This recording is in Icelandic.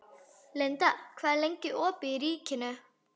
Linda, hvað er lengi opið í Ríkinu?